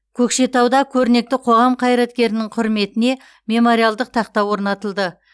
көкшетауда көрнекті қоғам қайраткерінің құрметіне мемориалдық тақта орнатылды